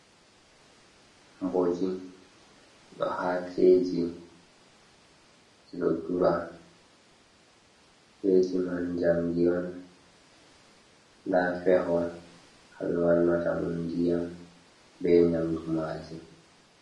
Mboji haa keeji ɗi ɗo dura, keeji man njamdi on, ndaa feho haa ɓe wannata ɗum ndiyam bee nnyamdu maaji.